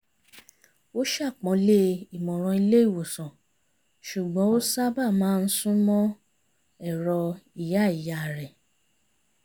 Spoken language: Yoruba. ó ṣàpọ́nlé ìmọ̀ràn ilé ìwòsàn ṣùgbọ́n ó sábà má ń súnmọ́ ẹ̀rọ̀ ìyá ìyá rẹ̀